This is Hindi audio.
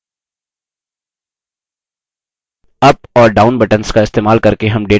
up और down buttons का इस्तेमाल करके हम data को फिर से क्रमबद्ध भी कर सकते हैं